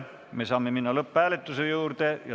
Me saame minna lõpphääletuse juurde.